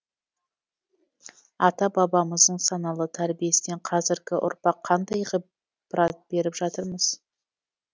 ата бабамыздың саналы тәрбиесінен қазіргі ұрпақ қандай ғибарат беріп жатырмыз